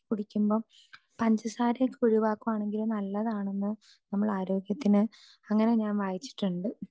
speaker 2 പാനീയങ്ങൾ ആക്കി കുടിക്കുമ്പോ പഞ്ചസാര ഒഴിവാക്കുവാണെങ്കിൽ നല്ലതാണെന്ന് നമ്മളെ ആരോഗ്യത്തിന് അങ്ങനെ ഞാൻ വായിച്ചിട്ടുണ്ട്